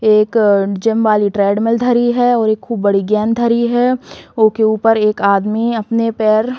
एक अ जिम वाली ट्रेडमिल धरी है और एक खूब बड़ी गेंद धरी है। ओके ऊपर एक आदमी अपने पैर --